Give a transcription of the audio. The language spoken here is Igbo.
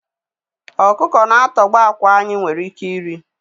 Ọkụkọ na-atọgbọ àkwá anyị nwere ike iri.